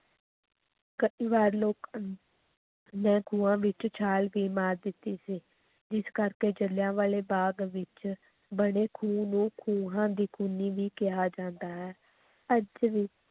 ਕਈ ਵਾਰ ਲੋਕ ਨੇ ਖੂਹਾਂ ਵਿੱਚ ਛਾਲ ਵੀ ਮਾਰ ਦਿੱਤੀ ਸੀ, ਜਿਸ ਕਰਕੇ ਜਿਲ੍ਹਿਆਂਵਾਲੇ ਬਾਗ ਵਿੱਚ ਬਣੇ ਖੂਹ ਨੂੰ ਖੂਹਾਂ ਦੀ ਖੂਨੀ ਵੀ ਕਿਹਾ ਜਾਂਦਾ ਹੈ, ਅੱਜ ਵੀ